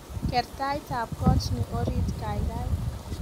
Ker taitab kotni orit kaikai